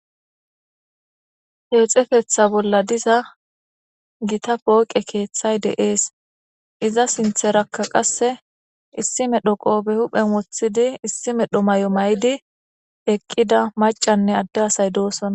Kexetetha bolla diza Gita pooqe keethay de'es. Iza sintharaka qase issi medho qope huphen wothid issi mala mayo mayid eqida macanne adde asay dosona.